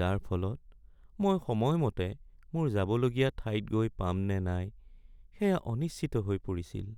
যাৰ ফলত মই সময়মতে মোৰ যাবলগীয়া ঠাইত গৈ পাম নে নাই সেয়া অনিশ্চিত হৈ পৰিছিল।